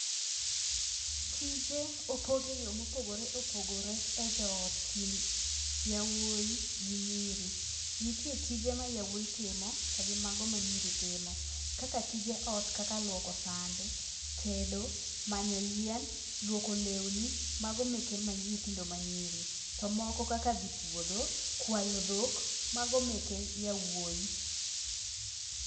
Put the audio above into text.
Tije opog eyo mopogore opogore ejoot kind jowuowi gi nyiri . Nitie tije ma yawuowi timo gi mago ma nyiri timo, kaka tije ot kaka luoko sande, tedo, manyo yien ,luoko lewni mago meke nyithindo manyiri. To moko kaka dhi puodho, kwayo dhok, mago meke yawuowi.